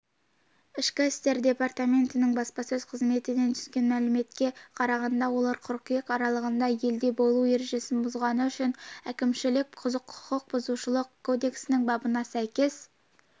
ішкі істер департаментінің баспасөз қызметінен түскен мәліметке қарағанда олар қыркүйек аралығында елде болу ережесін бұзғаны үшін әкімшілік құқықбұзушылық кодексінің бабына сәйкес